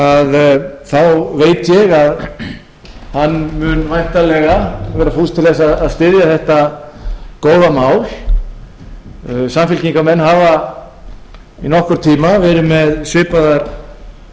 að hann mun væntanlega vera fús til að styðja þetta góða mál samfylkingarmenn hafa í nokkurn tíma verið með svipaðar tillögur